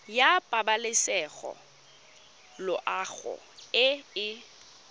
ya pabalesego loago e e